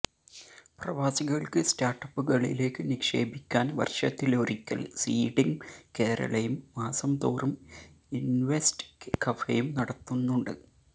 പ്രവാസികള്ക്ക് സ്റ്റാര്ട്ടപ്പുകളിലേക്ക് നിക്ഷേപിക്കാന് വര്ഷത്തിലൊരിക്കല് സീഡിംഗ് കേരളയും മാസംതോറും ഇന്വെസ്റ്റര് കഫേയും നടത്തുന്നുണ്ട്